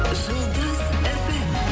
жұлдыз фм